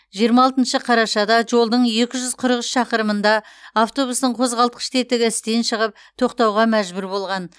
жиырма алтыншы қарашада жолдың екі жүз қырық үш шақырымында автобустың қозғалтқыш тетігі істен шығып тоқтауға мәжбүр болған